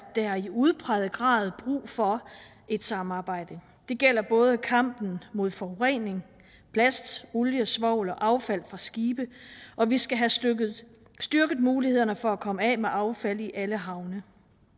der i udpræget grad brug for et samarbejde det gælder både kampen mod forurening plast olie svovl og affald fra skibe og vi skal have styrket styrket mulighederne for at komme af med affald i alle havne